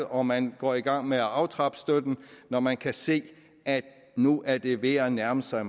og man går i gang med at aftrappe støtten når man kan se at nu er det ved at nærme sig